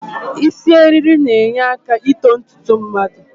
Isi eriri na-enyeaka ito ntutu mmadụ